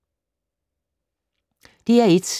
DR1